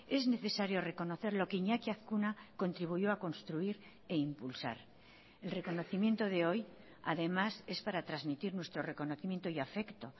es necesario reconocer lo que iñaki azkuna contribuyó a construir e impulsar el reconocimiento de hoy además es para transmitir nuestro reconocimiento y afecto